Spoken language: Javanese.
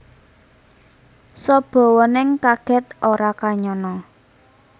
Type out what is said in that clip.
Sabawaning kaget ora kanyana